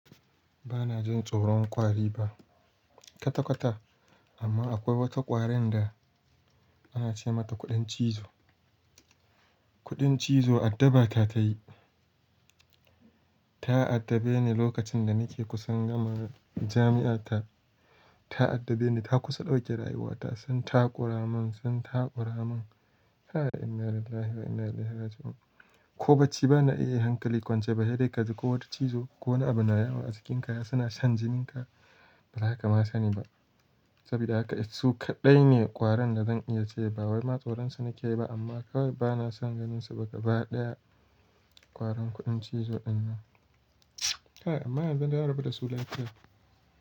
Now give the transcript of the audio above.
Ba na jin tsoron ƙwari fa. Kwata-kwata amma akwai wata ƙwarin da ana ce mata kuɗin cizo. Kuɗin cizo addabata ta yi. Ta addabe ni lokacin da nake kusan gama jami'a ta. Ta addabe ni, ta kusa ɗauke rayuwata. Sun takura mun, sun takura mun. Kai inna lillahi wa inna ilaihi raji'un. Ko bacci ba na iya yi hankali kwance ba. Sedaika ji ko wata cizo ko wani abu na yawo a jikinka yana shan jininka. Ba zaka ma sani ba. Saboda haka su kaɗai ne ƙwaran da zan iya ce ba wai matsoron su nake yi ba amma kawai ba na san ganinsa ba. Ga baɗaya ƙwarin kuɗin cizo dinnan. Kai amma yanzu na rabu da su lafiya.